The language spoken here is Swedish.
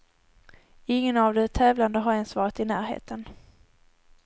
Ingen av de tävlande har ens varit i närheten.